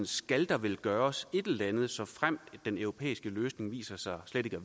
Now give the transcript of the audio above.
skal der vel gøres et eller andet i fremtiden såfremt den europæiske løsning viser sig ikke at